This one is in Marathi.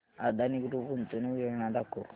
अदानी ग्रुप गुंतवणूक योजना दाखव